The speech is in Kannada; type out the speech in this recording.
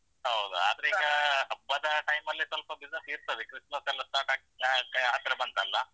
ಹೌದು ಆದ್ರೆ ಈಗ ಹಬ್ಬದ ಟೈಮಲ್ಲಿ ಸ್ವಲ್ಪ ಬಿಸಿನೆಸ್ ಏರ್ತದೆ, ಕ್ರಿಸ್ಮಸ್‌ ಸ್ಟಾರ್ಟ್ ಆಗ್ತಾ ಹತ್ರ ಬಂತಲ್ಲಾ.